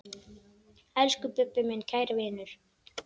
Elsku Bubbi, minn kæri vinur.